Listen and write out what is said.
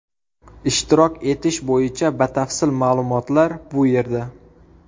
Ishtirok etish bo‘yicha batafsil ma’lumotlar bu yerda .